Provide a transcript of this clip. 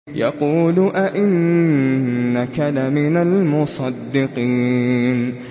يَقُولُ أَإِنَّكَ لَمِنَ الْمُصَدِّقِينَ